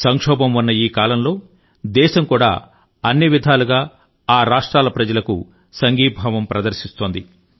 సంక్షోభం ఉన్న ఈ కాలంలో దేశం కూడా అన్ని విధాలుగా ఆ రాష్ట్రాల ప్రజల కు సంఘీభావం ప్రదర్శిస్తోంది